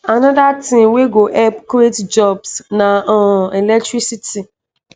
anoda tin wey go help create jobs na um electricity